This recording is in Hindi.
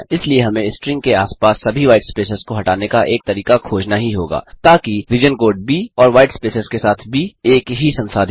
इसलिए हमें स्ट्रिंग के आसपास सभी व्हाईटस्पेस को हटाने का एक तरीका खोजना ही होगा ताकि रीजन कोड ब और व्हाईट स्पेसस के साथ ब एक ही संसाधित हों